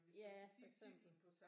Ja for eksempel